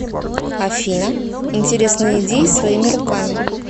афина интересные идеи своими руками